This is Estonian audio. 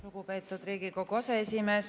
Lugupeetud Riigikogu aseesimees!